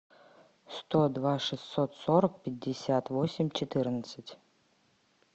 сто два шестьсот сорок пятьдесят восемь четырнадцать